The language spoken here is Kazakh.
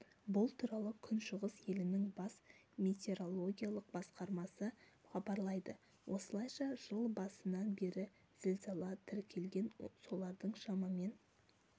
бұл туралы күншығыс елінің бас метеорологиялық басқармасы хабарлайды осылайша жыл басынан бері зілзала тіркелген солардың шамамен